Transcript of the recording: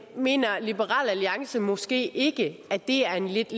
mener liberal alliance måske ikke at det er en lidt